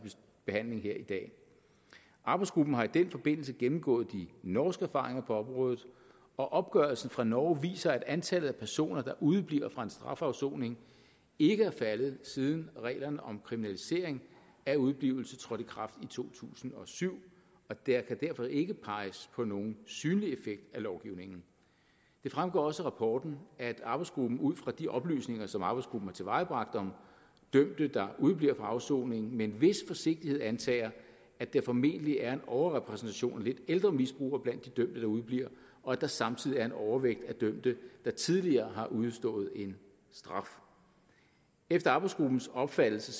behandling her i dag arbejdsgruppen har i den forbindelse gennemgået de norske erfaringer på området og opgørelsen fra norge viser at antallet af personer der udebliver fra en strafafsoning ikke er faldet siden reglerne om kriminalisering af udeblivelse trådte i kraft i to tusind og syv der kan derfor ikke peges på nogen synlig effekt af lovgivningen det fremgår også af rapporten at arbejdsgruppen ud fra de oplysninger som arbejdsgruppen har tilvejebragt om dømte der udebliver fra afsoningen med en vis forsigtighed antager at der formentlig er en overrepræsentation af lidt ældre misbrugere blandt de dømte der udebliver og at der samtidig er en overvægt af dømte der tidligere har udstået en straf efter arbejdsgruppens opfattelse